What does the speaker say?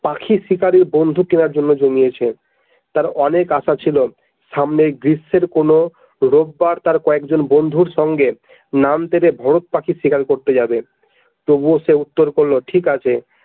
পাখি শিকারের বন্দুক কেনার জন্য জমিয়েছে তার অনেক আশা ছিল সামনের গ্রীষ্মের কোনো রববার তার কয়েকজন বন্ধুর সঙ্গে ভরত পাখির শিকার করতে যাবে তবুও সে উত্তর করলো ঠিক আছে।